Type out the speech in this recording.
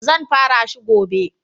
Zan fara shi gobe.